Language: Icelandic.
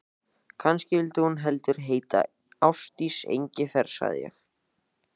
Kannski vildi hún heldur heita Ásdís Engifer, sagði ég.